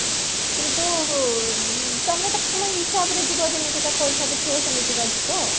କିନ୍ତୁ ତମେ ତ ତମ ପାଇଁ ହିସାବରେ ଯିବ ଯେମିତିକା ପଇସା ଦେଖିବା ସେମିତିକା ଯିବ